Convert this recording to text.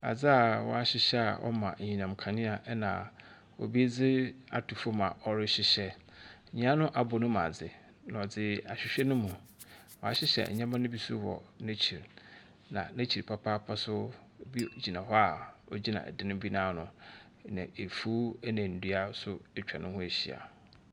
Adza w'ahyehyɛ a ɔma enyinam kanea ena obi dzi ato fom a ɔrehyehyɛ. Nia no abɔ ne mu adzi na ɔdze ahyehyɛ ne mu. w'ahyehyɛ nneɛma no bi wɔ n'akyir. Na n'akyir papaapa so obi gyina hɔ a ogyina ɔdan bi ano. Na afuw ena ndua so etwa ne ho ahyia.